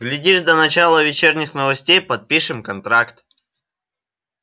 глядишь до начала вечерних новостей и подпишем контракт